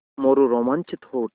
मोरू रोमांचित हो उठा